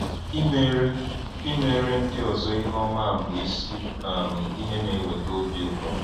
Imere Imere ndị ọzọ ihe ọma bụ isi um ihe na-eweta obi ụtọ.